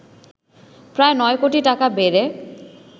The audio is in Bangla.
প্রায় ৯ কোটি টাকা বেড়ে